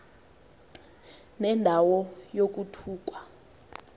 nenda wo yokuthukwa